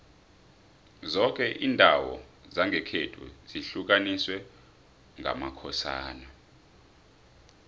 zoke indawo zangekhethu zihlukaniswe ngamakhosana